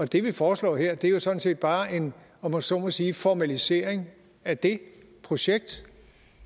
det vi foreslår her er jo sådan set bare en om jeg så må sige formalisering af det projekt